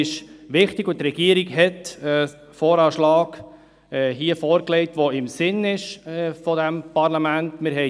Die Regierung hat hier einen VA vorgelegt, der im Sinne des Parlaments ist, das ist wichtig.